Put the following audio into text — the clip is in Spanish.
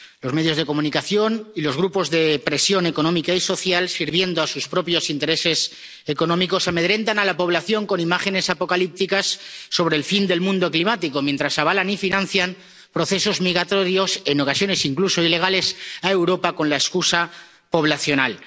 Los medios de comunicación y los grupos de presión económica y social, sirviendo a sus propios intereses económicos, amedrentan a la población con imágenes apocalípticas sobre el fin del mundo climático, mientras avalan y financian procesos migratorios —en ocasiones incluso ilegales— a Europa con la excusa poblacional.